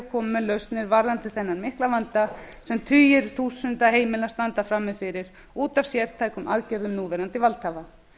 koma með lausnir varðandi þennan mikla vanda sem tugir þúsunda heimila standa frammi fyrir út af samtökum aðgerðum núverandi valdhafa